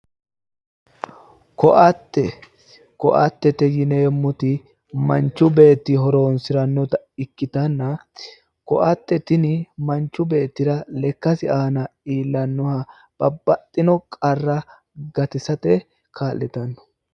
Ko'attete. Ko’attete yineemmoti manchu beetti horonsirannota ikkitanna ko'atte tini manchu beettira lekkasira aana iillannoha babbaxxino qarra gatisate kaa'litanno